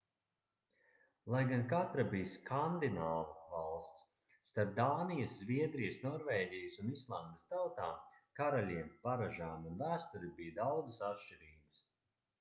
lai gan katra bija skandināvu valsts starp dānijas zviedrijas norvēģijas un islandes tautām karaļiem paražām un vēsturi bija daudzas atšķirības